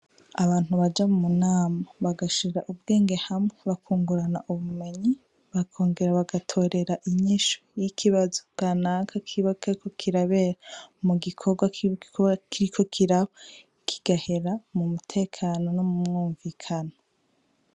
Abantu baja munama bagashira ubwenge hamwe bakungurana ubumenyi bakongera bagatorera inyishu y'ikibazo kanaka kiba kiriko mugikorwa kiba kiriko kiba kigahera m'umutekano no m'umwumvikano.